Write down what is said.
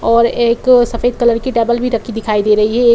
और एक सफेद कलर की टैबल भी रखी दिखाई दे रही है। ए --